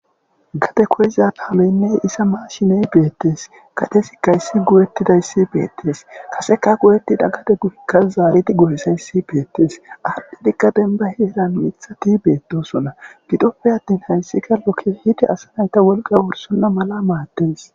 Gade koyiza taaloynne isa maashiney beettes katesi kayssi gowettidayssi beettes kaseka goyettida kade gurikka zaalidi gohisayssi beettes addidikka denba heeran mithati beettosonna gidoppe attin hayssika lokke hidi asa nayta wolqa worsonna mala maattes.